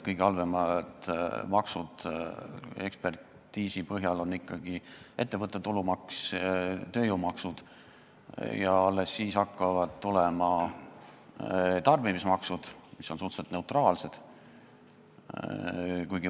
Kõige halvemad maksud ekspertiisi põhjal on ikkagi ettevõtte tulumaks ja tööjõumaksud ning alles siis hakkavad tulema tarbimismaksud, mis on suhteliselt neutraalsed.